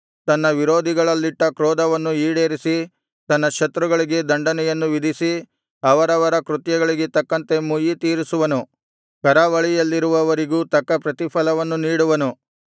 ತನ್ನ ವಿರೋಧಿಗಳಲ್ಲಿಟ್ಟ ಕ್ರೋಧವನ್ನು ಈಡೇರಿಸಿ ತನ್ನ ಶತ್ರುಗಳಿಗೆ ದಂಡನೆಯನ್ನು ವಿಧಿಸಿ ಅವರವರ ಕೃತ್ಯಗಳಿಗೆ ತಕ್ಕಂತೆ ಮುಯ್ಯಿತೀರಿಸುವನು ಕರಾವಳಿಯಲ್ಲಿರುವವರಿಗೂ ತಕ್ಕ ಪ್ರತಿಫಲವನ್ನು ನೀಡುವನು